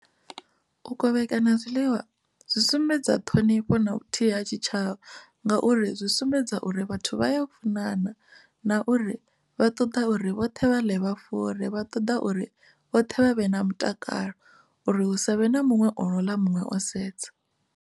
U kovhekana zwiḽiwa zwi sumbedza ṱhonifho na vhuthihi ha tshitshavha ngauri zwi sumbedza uri vhathu vha ya funana na uri vha ṱoḓa uri vhoṱhe vha ḽe vha fure vha ṱoḓa uri vhoṱhe vha vhe na mutakalo uri hu savhe na muṅwe o no ḽa muṅwe o sedza.